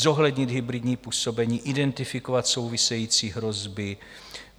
Zohlednit hybridní působení, identifikovat související hrozby.